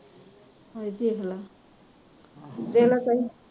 ਹਾਂ ਵੇਖ ਲਾ